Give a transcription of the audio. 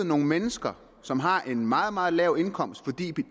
nogle mennesker som har en meget meget lav indkomst fordi